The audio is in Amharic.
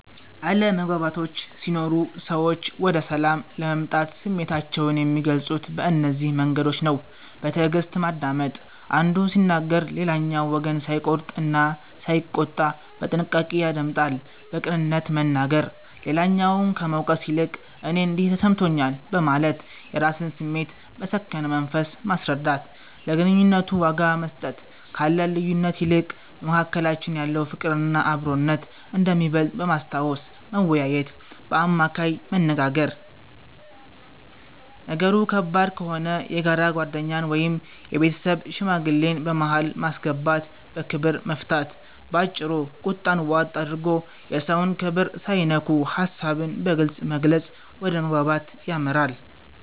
አለመግባባቶች ሲኖሩ ሰዎች ወደ ሰላም ለመምጣት ስሜታቸውን የሚገልጹት በእነዚህ መንገዶች ነው፦ በትዕግስት ማዳመጥ፦ አንዱ ሲናገር ሌላኛው ወገን ሳይቆርጥ እና ሳይቆጣ በጥንቃቄ ያደምጣል። በቅንነት መናገር፦ ሌላውን ከመውቀስ ይልቅ "እኔ እንዲህ ተሰምቶኛል" በማለት የራስን ስሜት በሰከነ መንፈስ ማስረዳት። ለግንኙነቱ ዋጋ መስጠት፦ ካለን ልዩነት ይልቅ በመካከላችን ያለው ፍቅርና አብሮነት እንደሚበልጥ በማስታወስ መወያየት። በአማካይ መነጋገር፦ ነገሩ ከባድ ከሆነ የጋራ ጓደኛን ወይም የቤተሰብ ሽማግሌን በመሃል በማስገባት በክብር መፍታት። ባጭሩ፤ ቁጣን ዋጥ አድርጎ፣ የሰውን ክብር ሳይነኩ ሐሳብን በግልጽ መግለጽ ወደ መግባባት ያመራል።